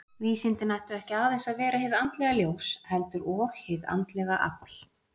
Vísindin ættu ekki aðeins að vera hið andlega ljós, heldur og hið andlega afl.